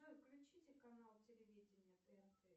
джой включите канал телевидения тнт